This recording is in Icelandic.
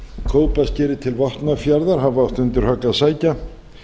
kópaskeri til vopnafjarðar hafi átt undir högg að sækja